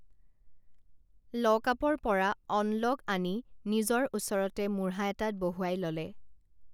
লকআপৰ পৰা অনলক আনি নিজৰ ওচৰতে মূঢ়া এটাত বহুৱাই ললে